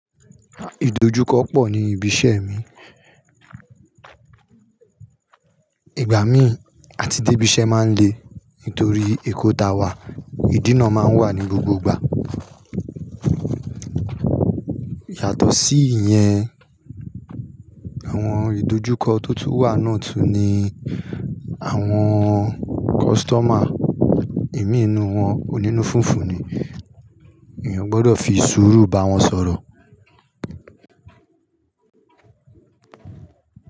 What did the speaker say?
Ìdojúkọ pọ̀ ní ibi iṣẹ́ mi. Ìgbà mí àti débí iṣẹ́ máa ń le nítorí èkó ta wà, ìdínà máa ń wà ní gbogbo ìgbà. Yàtọ̀ sí ìyẹn, àwọn ìdojúkọ tó tún wà náà tún ni àwọn customer imí ninú wọn onínú fúnfu ni. Èèyàn gbọdọ̀ fi sùúrù bá wọn sọ̀rọ̀.